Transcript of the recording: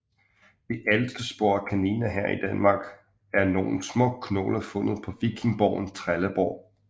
De ældste spor af kaniner her i Danmark er nogle små knogler fundet på vikingeborgen Trelleborg